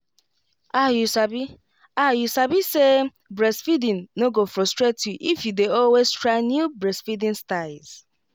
ah you sabi ah you sabi say breastfeeding no go frustrate you if you dey always try new breastfeeding styles